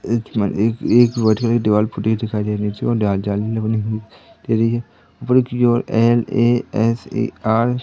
इथमन एक एक बैठी हुई दीवाल फूटी हुई दिखाई दे रही है दे रही है ऊपर की ओर एन_ए_एस_ए_आर --